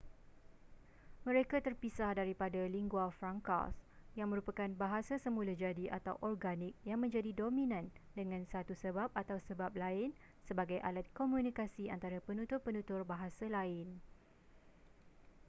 mereka terpisah daripada lingua francas yang merupakan bahasa semula jadi atau organik yang menjadi dominan dengan satu sebab atau sebab lain sebagi alat komunikasi antara penutur-penutur bahasa lain